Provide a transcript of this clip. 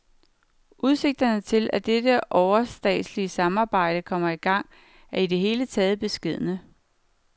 Udsigterne til, at dette overstatslige samarbejde kommer i gang, er i det hele taget beskedne.